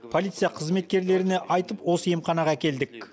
полиция қызметкерлеріне айтып осы емханаға әкелдік